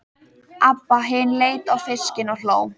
Abba hin leit á fiskinn og hló.